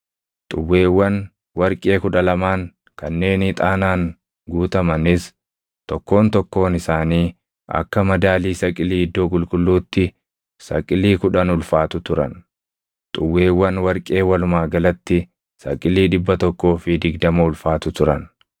Xuwweewwan warqee kudha lamaan kanneen ixaanaan guutamanis tokkoon tokkoon isaanii akka madaalii saqilii iddoo qulqulluutti saqilii kudhan ulfaatu turan. Xuwweewwan warqee walumaa galatti saqilii dhibba tokkoo fi digdama ulfaatu turan.